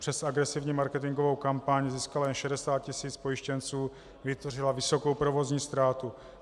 Přes agresivní marketingovou kampaň získala jen 60 tisíc pojištěnců, vytvořila vysokou provozní ztrátu.